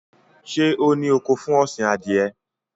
Ṣé ó ní oko fún ọ̀sìn Adìẹ?